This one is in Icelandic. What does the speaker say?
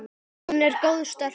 Hún er góð stelpa.